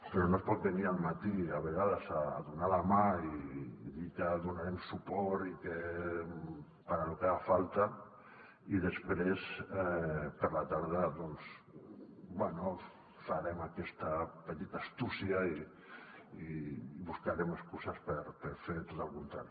però no es pot venir al matí a vegades a donar la mà i dir que hi donarem suport i que para lo que haga falta i després a la tarda doncs bé farem aquesta petita astúcia i buscarem excuses per fer tot el contrari